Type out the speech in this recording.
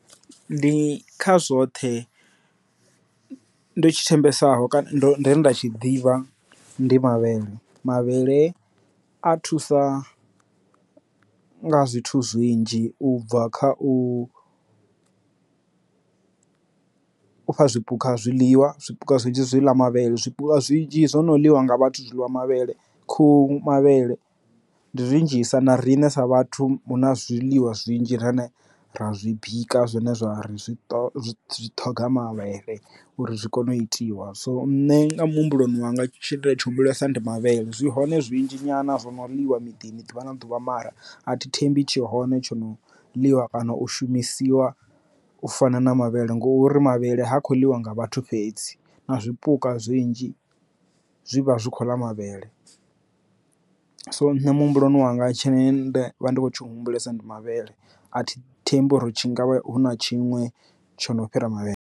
Ndi kha zwoṱhe ndo tshi thembesa ho kana nda tshi ḓivha ndi mavhele, mavhele a thusa nga zwithu zwinzhi u bva kha u u fha zwipuka zwiḽiwa zwipuka zwinzhi zwi ḽa mavhele zwinzhi zwo no ḽiwa nga vhathu zwiḽa mavhele khuhu mavhele ndi zwinzhisa na riṋe sa vhathu huna zwiḽiwa zwinzhi rine ra zwi bika zwine zwa ri zwi ṱhoga mavhele uri zwi kone u itiwa. So nṋe nga muhumbuloni wanga tshine nda tshi humbulesa ndi mavhele zwi hone zwinzhi nyana zwino ḽiwa miḓini ḓuvha na ḓuvha mara a thi thembi tshi hone tsho no ḽiwa kana u shumisiwa u fana na mavhele ngori mavhele ha khou ḽiwa nga vhathu fhedzi na zwipuka zwinzhi zwivha zwi kho ḽa mavhele so nṋe muhumbuloni wanga tsheṋe ende vha ndi khou tshi humbulesa ndi mavhele a thi thembi uri tshi ngavha hu na tshiṅwe tshono fhira mavhele.